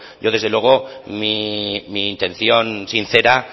yo desde luego mi intención sincera